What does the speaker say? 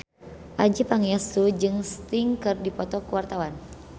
Adjie Pangestu jeung Sting keur dipoto ku wartawan